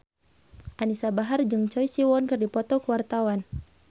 Anisa Bahar jeung Choi Siwon keur dipoto ku wartawan